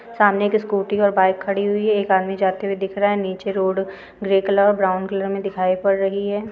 सामने एक स्कूटी और बाइक खड़ी हुई है एक आदमी जाते हुए दिख रहा है नीचे रोड ग्रे कलर और ब्राउन कलर मे दिखाई पड़ रही है।